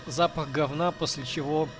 запах говна после чего